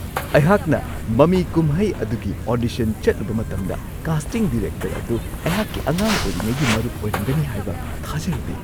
ꯑꯩꯍꯥꯛꯅ ꯃꯃꯤ-ꯀꯨꯝꯍꯩ ꯑꯗꯨꯒꯤ ꯑꯣꯗꯤꯁꯟ ꯆꯠꯂꯨꯕ ꯃꯇꯝꯗ, ꯀꯥꯁꯇꯤꯡ ꯗꯤꯔꯦꯛꯇꯔ ꯑꯗꯨ ꯑꯩꯍꯥꯛꯀꯤ ꯑꯉꯥꯡ ꯑꯣꯏꯔꯤꯉꯩꯒꯤ ꯃꯔꯨꯞ ꯑꯣꯏꯔꯝꯒꯅꯤ ꯍꯥꯏꯕ ꯊꯥꯖꯔꯨꯗꯦ ꯫